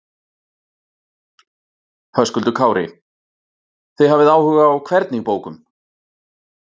Höskuldur Kári: Þið hafið áhuga á hvernig bókum?